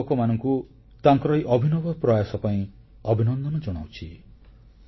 ମୁଁ ଏହି ଯୁବକମାନଙ୍କୁ ତାଙ୍କର ଏହି ଅଭିନବ ପ୍ରୟାସ ପାଇଁ ଅଭିନନ୍ଦନ ଜଣାଉଛି